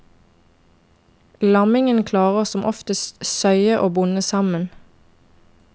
Lammingen klarer som oftest søye og bonde sammen.